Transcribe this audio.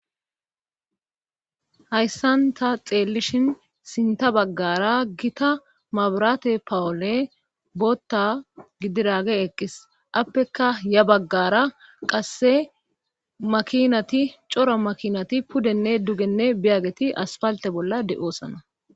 Hayssan ta xeellishin sinta baggara gita mabirate pawule bootta gidiraage eqqis appeka ya baggara qasse makinati cora makinati pudenne dugenne biyaggeti aspalte bolla de7oosana.